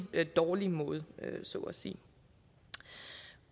dårlig måde så at sige